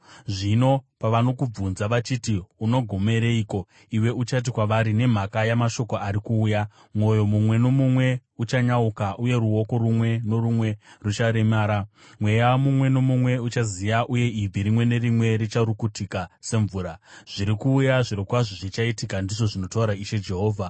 Zvino pavanokubvunza vachiti, ‘Unogomereiko?’ iwe uchati kwavari, ‘Nemhaka yamashoko ari kuuya. Mwoyo mumwe nomumwe uchanyauka uye ruoko rumwe norumwe rucharemara, mweya mumwe nomumwe uchaziya uye ibvi rimwe nerimwe richarukutika semvura.’ Zviri kuuya! Zvirokwazvo zvichaitika, ndizvo zvinotaura Ishe Jehovha.”